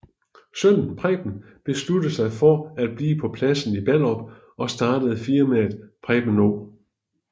Sønnen Preben beslutter sig for at blive på pladsen i Ballerup og startede firmaet Preben O